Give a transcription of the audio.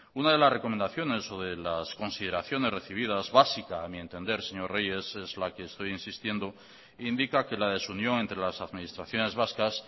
una de las recomendaciones o de las consideraciones recibidas básica a mi entender señor reyes es la que estoy insistiendo indica que la desunión entre las administraciones vascas